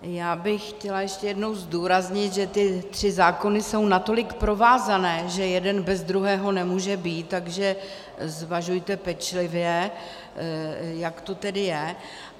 Já bych chtěla ještě jednou zdůraznit, že ty tři zákony jsou natolik provázané, že jeden bez druhého nemůže být, takže zvažujte pečlivě, jak to tedy je.